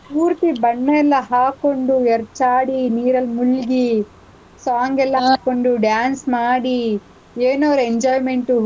ಪೂರ್ತಿ ಬಣ್ಣ ಎಲ್ಲಾ ಹಾಕೊಂಡು ಎರ್ಚಾಡಿ, ನೀರಲ್ ಮುಳ್ಗಿ, song ಎಲ್ಲಾ ಹಾಕೊಂಡು, dance ಮಾಡಿ, ಎನ್ ಅವ್ರ್ enjoyment,